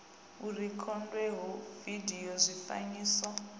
u rekhodwa ha vidio zwifanyiso